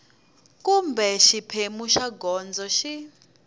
kumbe xiphemu xa gondzo xi